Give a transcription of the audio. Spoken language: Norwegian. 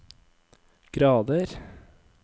grader